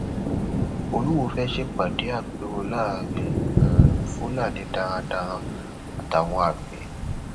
um olúwọ fẹẹ ṣèpàdé àpérò láàrin um fúlàní darandaran àtàwọn àgbẹ